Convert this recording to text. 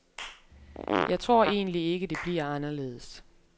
Jeg tror egentlig ikke, det bliver anderledes.